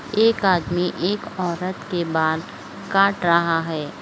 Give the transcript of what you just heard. एक आदमी एक औरत के बाल काट रहा है।